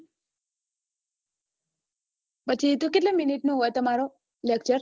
પછી કેટલા minute નો હોય તમારો lecture